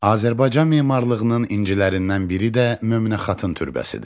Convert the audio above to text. Azərbaycan memarlığının incilərindən biri də Möminə xatın türbəsidir.